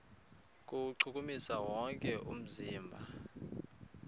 kuwuchukumisa wonke umzimba